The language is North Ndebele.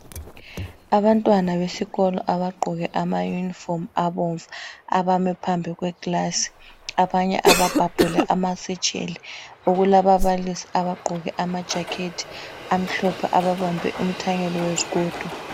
Abantwana besikolo abagqoke amayunifomu abomvu abame phambi kwekilasi abanye ababhabhule amasetsheli kulababalisi abagqoke amajacket amhlophe ababambe umthanyelo wezigodo.